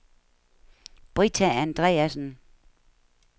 Britta Andreasen